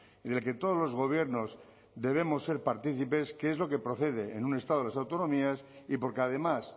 y del que todos los gobiernos debemos ser partícipes que es lo que procede en un estado de las autonomías y porque además